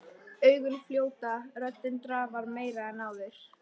Augun fljóta, röddin drafar meira en áður.